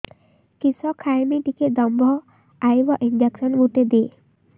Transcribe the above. କିସ ଖାଇମି ଟିକେ ଦମ୍ଭ ଆଇବ ଇଞ୍ଜେକସନ ଗୁଟେ ଦେ